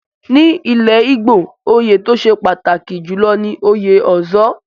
Ní ilẹ̀ Igbo, oyè tó ṣe pàtàkì jùlọ ni òye Ozo.